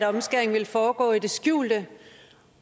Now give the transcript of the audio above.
omskæring ville foregå i det skjulte